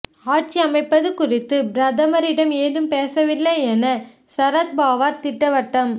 ஆட்சி அமைப்பது குறித்து பிரதமரிடம் ஏதும் பேசவில்லை என சரத்பவார் திட்டவட்டம்